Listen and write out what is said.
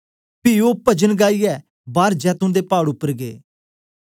पी ओ पजन गाइयै बार जैतून दे पाड़ उपर गै